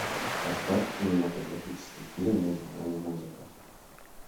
поставь кинематографический фильм между нами музыка